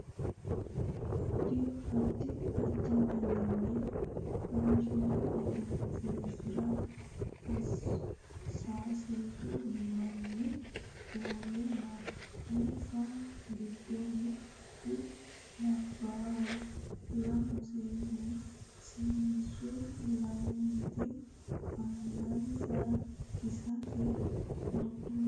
addi addi daninni faashine egensiisara sasu manni uurre no insa giddo mittu labbaaho lamu seenneho seennu lamenti angansa kiisete wodhe no